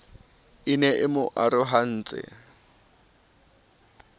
e ne e mo arohantse